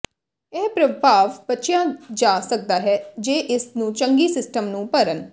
ਇਹ ਪ੍ਰਭਾਵ ਬਚਿਆ ਜਾ ਸਕਦਾ ਹੈ ਜੇ ਇਸ ਨੂੰ ਚੰਗੀ ਸਿਸਟਮ ਨੂੰ ਭਰਨ